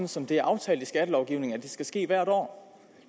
som det er aftalt i skattelovgivningen at det skal ske hvert år